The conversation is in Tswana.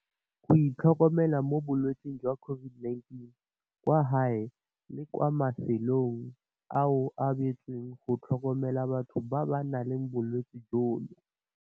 Go itlhokomela mo bolwetseng jwa COVID-19. Kwa gae le kwa mafelong ao a beetsweng go tlhokomela batho ba ba nang le bolwetse jono